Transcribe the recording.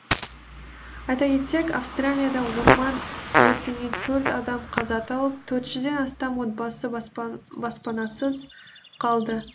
айта кетсек австралияда орман өртінен төрт адам қаза тауып төрт жүзден астам отбасы баспанасыз қалды